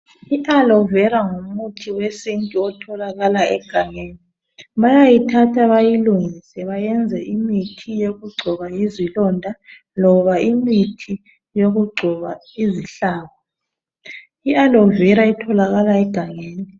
I alo vera ngumuthi wesintu otholakala egangeni. Bayayithatha bayilungise bayenze imithi yokugcoba izilonda loba imithi yokugcoba izihlabo. ialo vera itholakala egangeni.